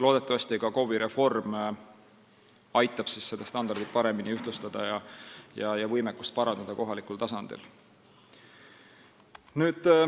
Loodetavasti KOV-i reform aitab seda standardit paremini ühtlustada ja kohaliku tasandi võimekust parandada.